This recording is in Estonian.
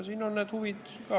Siin on erinevad huvid.